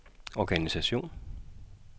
organisation